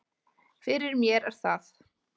Fyrir mér er það